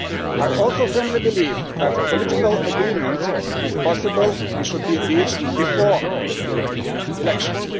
it. I also firmly believe that a political agreement is possible and should be reached before the European elections.